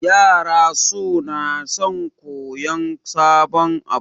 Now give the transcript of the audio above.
Yara sona son koyan sabon abu